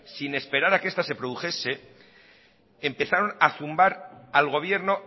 sin esperar a que esta se produjese empezaron a zumbar al gobierno